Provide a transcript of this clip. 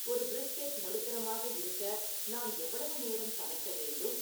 ஒரு பிரிஸ்கெட் நடுத்தரமாக இருக்க நான் எவ்வளவு நேரம் சமைக்க வேண்டும்